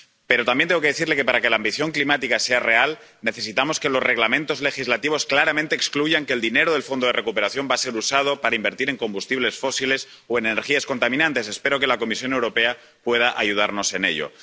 Pero también tengo que decirle que, para que la ambición climática sea real, necesitamos que los Reglamentos legislativos claramente excluyan que el dinero del fondo de recuperación vaya a ser usado para invertir en combustibles fósiles o energías contaminantes. Espero que la Comisión Europea pueda ayudarnos en ello.